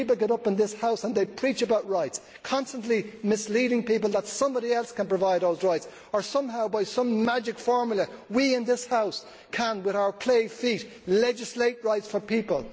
People get up in this House and they preach about rights, constantly misleading people that somebody else can provide those rights or that somehow, by some magic formula, we in this House can with our clay feet legislate rights for people